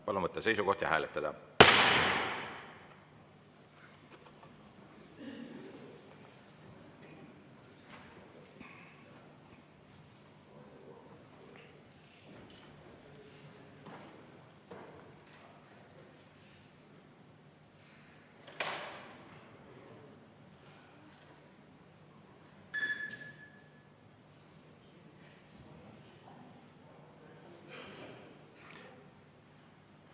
Palun võtta seisukoht ja hääletada!